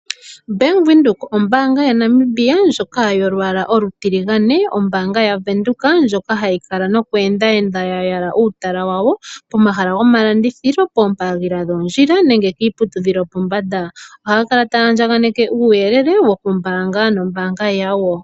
Bank Windhoek ombaanga yaNamibia ndjoka yolwaala olutiligane, ndjoka hayi kala nokweenda nokuyala uutala wa wo pomahala gomalandithilo, pooha dhoondjila nenge kiiputudhilo yopombanda ohaya kala taya gandje uuyelele kombinga yombaanga oyo tuu ndjoka.